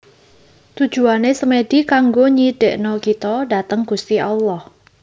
Tujuane Semedi kanggo nyidekno kito dateng Gusti Allah